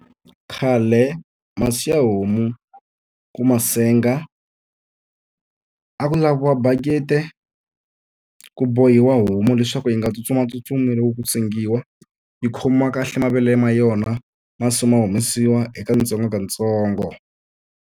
Khale masi ya homu ku ma senga, a ku laviwa bakiti ku bohiwa homu leswaku yi nga tsutsumatsutsumi loko ku sengiwa. Yi khomiwa kahle mavele ma yona masi ma humesiwa hi katsongokatsongo.